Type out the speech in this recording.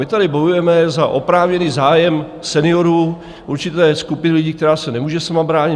My tady bojujeme za oprávněný zájem seniorů, určité skupiny lidí, kteří se nemůžou sami bránit.